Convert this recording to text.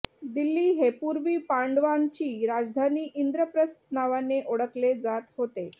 दिल्ली हे पूर्वी पांडवांची राजधानी इंद्रप्रस्थ नावाने ओळखले जात होते